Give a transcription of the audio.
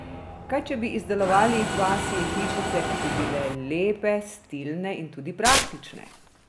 Kaj če bi izdelovali pasje hišice, ki bi bile lepe, stilne in tudi praktične?